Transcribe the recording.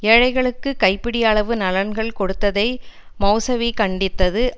ஏழைகளுக்கு கைப்பிடி அளவு நலன்கள் கொடுத்ததை மெளசவி கண்டித்தது